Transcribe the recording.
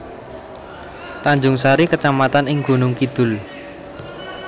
Tanjungsari kecamatan ing Gunung Kidul